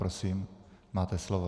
Prosím máte slovo.